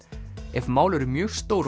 ef mál eru mjög stór